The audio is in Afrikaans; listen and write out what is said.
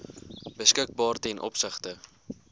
beskikbaar ten opsigte